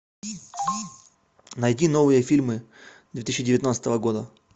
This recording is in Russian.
найди новые фильмы две тысячи девятнадцатого года